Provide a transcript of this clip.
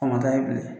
A man da yen bilen